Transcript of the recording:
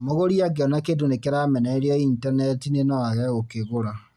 Mũgũri angĩona kĩndũ nĩ kĩramenererio intaneti-inĩ no age gũkĩgũra